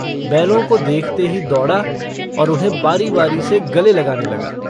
बैलों को देखते ही दौड़ा और उन्हें बारी-बारी से गले लगाने लगा।